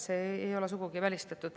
See ei ole sugugi välistatud.